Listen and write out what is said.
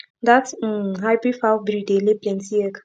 that um hybrid fowl breed dey lay plenty egg